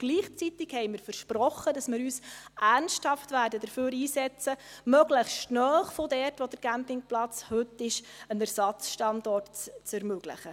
Gleichzeitig haben wir versprochen, dass wir uns ernsthaft dafür einsetzen werden, möglichst nahe von dort, wo der Campingplatz heute ist, einen Ersatzstandort zu ermöglichen.